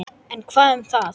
En hvað um það